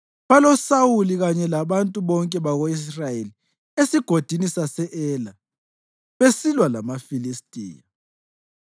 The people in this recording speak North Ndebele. BaloSawuli kanye labantu bonke bako-Israyeli eSigodini sase-Ela, besilwa lamaFilistiya.”